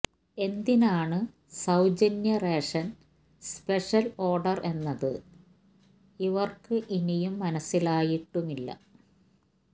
എന്തിനാണ് സൌജന്യ റേഷന് സ്പെഷ്യൽ ഓർഡർ എന്നത് ഇവർക്ക് ഇനിയും മനസിലായിട്ടുമില്ല